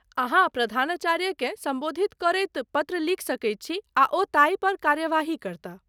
अहाँ प्रधानाचार्यकेँ सम्बोधित करैत पत्र लिख सकैत छी आ ओ ताहि पर कार्यवाही करताह।